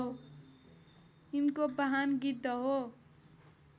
यिनको वाहन गिद्ध हो